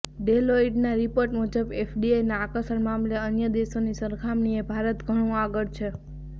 ડેલોઇટના report મુજબ એફડીઆઇના આકર્ષણ મામલે અન્ય દેશોની સરખામણીએ ભારત ઘણું આગળ છે